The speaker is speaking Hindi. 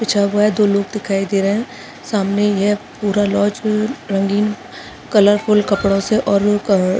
बिछा हुआ है दो लोग दिखाई दे रहे है सामने ये पूरा लॉज अ रंगीन कलरफूल कपड़ों से और अ --